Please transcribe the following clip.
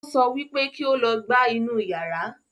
Ó sọ wípé kí ó lọ gbá inú yara